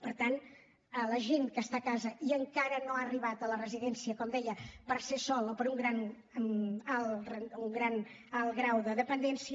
per tant la gent que està a casa i encara no ha arribat a la residència com deia pel fet d’estar sola o per un alt grau de dependència